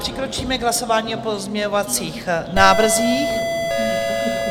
Přikročíme k hlasování o pozměňovacích návrzích.